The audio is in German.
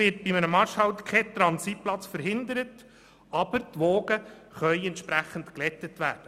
Durch einen Marschhalt wird kein Transitplatz verhindert, aber die Wogen können entsprechend geglättet werden.